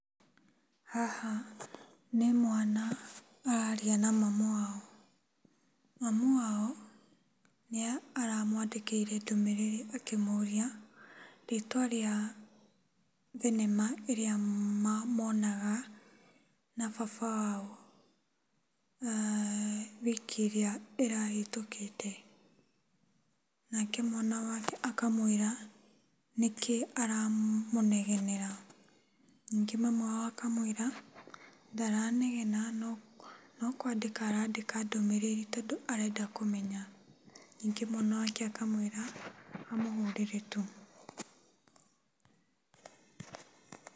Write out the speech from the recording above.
Haha nĩmwana araria na mamu wao. Mamu wao nĩaramwandĩkĩire ndũmĩrĩri akĩmũria rĩtwa rĩa thenema ĩrĩa monaga na baba wao wiki ĩrĩa ĩrahĩtũkĩte. Nake mwana wake akamwĩra, nĩkĩ aramũnegenera. Nyingĩ mami wao akamwĩra ndaranegena no nokwandĩka arandĩka ndũmĩrĩri tondũ arenda kũmenya. Nyingĩ mwana wake akamwĩra, amũhũrĩre tu.